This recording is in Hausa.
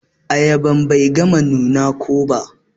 Ayaban Bai gama nuna ko ba.